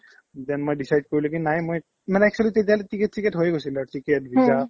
then মই decide কৰিলো কি নাই মই মানে actually তেতিয়ালে ticket চিকট হৈয়ে গৈছিলে আৰু ticket visa